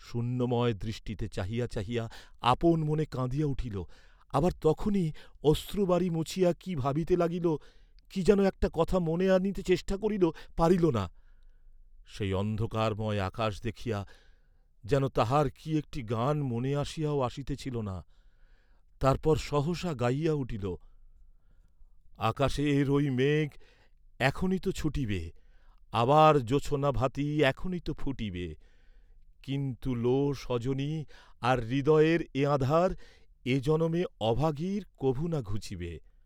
শূন্যময় দৃষ্টিতে চাহিয়া চাহিয়া আপন মনে কাঁদিয়া উঠিল; আবার তখনই অশ্রুবারি মুছিয়া কি ভাবিতে লাগিল, কি যেন একটা কথা মনে আনিতে চেষ্টা করিল, পারিল না; সেই অন্ধকারময় আকাশ দেখিয়া যেন তাহার কি একটি গান মনে আসিয়াও আসিতেছিল না, তারপর সহসা গাহিয়া উঠিল, আকাশের ঐ মেঘ এখনি তো ছুটিবে, আবার জোছনা ভাতি এখনি তো ফুটিবে, কিন্তু লো স্বজনি আর হৃদয়ের এ আঁধার, এ জনমে অভাগীর কভু না ঘুচিবে।